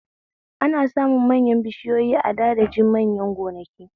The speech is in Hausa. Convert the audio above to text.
Ana samun manyan bishiyoyi a da daji manya gonaki